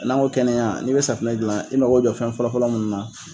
N'an ko kɛnɛya n'i be safunɛ gilan, i mako be jɔ fɛn fɔlɔfɔlɔ munnu na